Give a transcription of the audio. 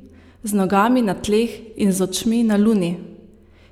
Z nogami na tleh in z očmi na luni!